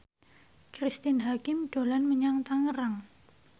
Cristine Hakim dolan menyang Tangerang